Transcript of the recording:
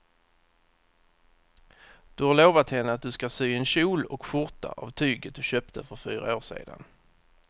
Du har lovat henne att du ska sy en kjol och skjorta av tyget du köpte för fyra år sedan.